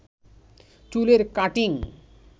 চুলের কাটিং